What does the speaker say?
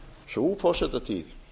sú forsetatíð